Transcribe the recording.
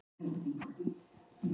Þú ert heilbrigður.